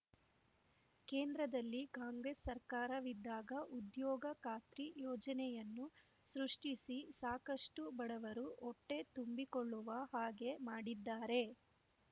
ಕೇಂದ್ರದಲ್ಲಿ ಕಾಂಗ್ರೇಸ್ ಸರ್ಕಾರವಿದ್ದಾಗ ಉದ್ಯೋಗ ಖಾತ್ರಿ ಯೋಜನೆಯನ್ನು ಸೃಷ್ಟಿಸಿ ಸಾಕಷ್ಟು ಬಡವರು ಹೊಟ್ಟೆ ತುಂಬಿಕೊಳ್ಳುವ ಹಾಗೇ ಮಾಡಿದ್ದಾರೆ